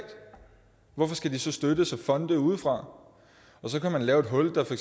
hvorfor skal de så støttes af fonde udefra så kan man lave et hul der for